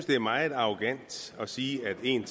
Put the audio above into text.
det er meget arrogant at sige at en